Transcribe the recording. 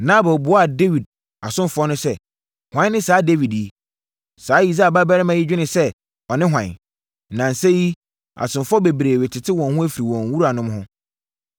Nabal buaa Dawid asomfoɔ no sɛ, “Hwan ne saa Dawid yi? Saa Yisai babarima yi dwene sɛ ɔne hwan? Nnansa yi, asomfoɔ bebree retete wɔn ho afiri wɔn wuranom ho.